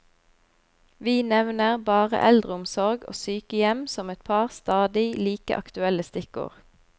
Vi nevner bare eldreomsorg og sykehjem som et par stadig like aktuelle stikkord.